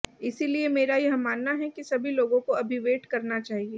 इसलिए मेरा यह मानना है कि सभी लोगों को अभी वेट करना चाहिए